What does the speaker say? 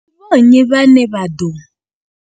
Ndi vho nnyi vhane vha ḓo.